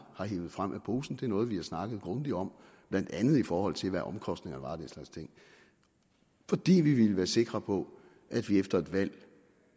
har hevet frem af posen det er noget vi har snakket grundigt om blandt andet i forhold til hvad omkostningerne var og den slags ting fordi vi ville være sikre på at vi efter et valg vil